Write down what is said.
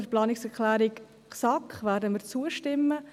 Der Planungserklärung SAK werden wir zustimmen.